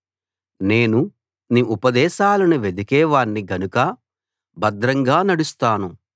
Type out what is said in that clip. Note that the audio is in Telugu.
నేను నీ ఉపదేశాలను వెదికే వాణ్ణి గనక భద్రంగా నడుస్తాను